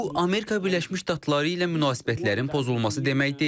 Bu, Amerika Birləşmiş Ştatları ilə münasibətlərin pozulması demək deyil.